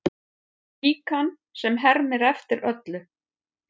Líkan sem hermir eftir öllu